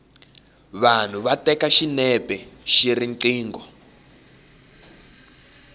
vanhu va teka xinepe hi riqingho